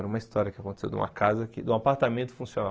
Era uma história que aconteceu de uma casa, que de um apartamento funcional.